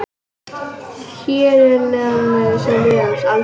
Hér að neðan má sjá liðið hans Alfreðs.